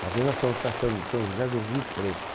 Uma vez nós fomos para São São José do Rio Preto.